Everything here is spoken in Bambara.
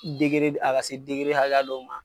a ka se hakɛya dɔw ma